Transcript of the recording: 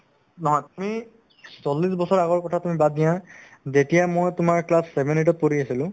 তুমি চল্লিশ আগৰ কথা তুমি বাদ দিয়া যেতিয়া মই তোমাৰ class seven eight ত পঢ়ি আছিলো